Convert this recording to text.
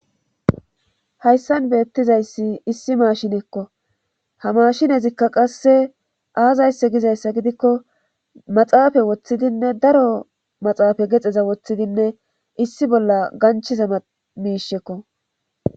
hayssan beettizayssi issi maashinekko ha mashinezikka qasse aazaysse gizayssa gidikko maxaafay woththidinne daro maxaafe gaxeza woththidinne issi bolla ganchiza miishekko